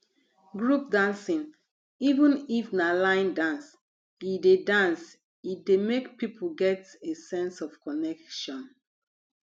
group dancing even if na line dance e dey dance e dey make people get a sense of connection